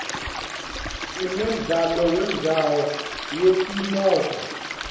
sinemdlalo wemjaho yetimoto